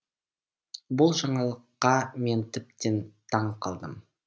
бұл жаңалыққа мен тіптен таң қалдым